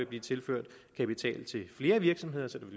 bliver tilført kapital til flere virksomheder så